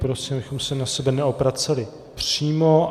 Prosím, abychom se na sebe neobraceli přímo.